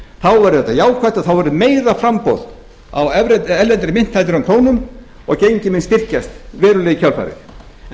verður þetta jákvætt og þá verður meira framboð á erlendri mynt en krónum og gengið mun styrkjast verulega í kjölfarið en